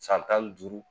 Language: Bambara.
San tan ni duuru